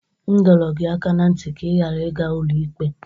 M dọrọ gị aka na ntị ka ị ghara ịga ụlọikpe!